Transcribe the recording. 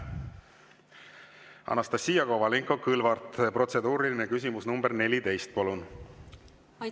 Anastassia Kovalenko-Kõlvart, protseduuriline küsimus nr 14, palun!